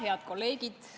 Head kolleegid!